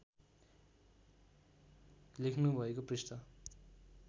लेख्नु भएको पृष्ठ